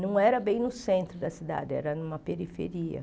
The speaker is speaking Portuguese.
Não era bem no centro da cidade, era numa periferia.